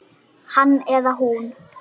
Hann eða hún